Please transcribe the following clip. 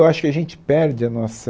Eu acho que a gente perde a nossa...